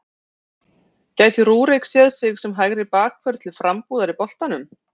Gæti Rúrik séð sig sem hægri bakvörð til frambúðar í boltanum?